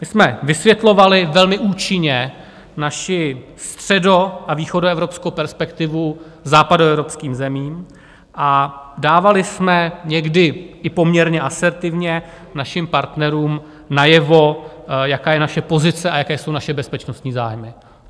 My jsme vysvětlovali velmi účinně naši středo- a východoevropskou perspektivu západoevropským zemím a dávali jsme někdy i poměrně asertivně našim partnerům najevo, jaká je naše pozice a jaké jsou naše bezpečnostní zájmy.